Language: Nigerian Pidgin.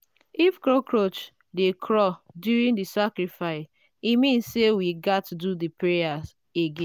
if cockroach dey crawl during the sacrifice e mean say we gats do the prayer again.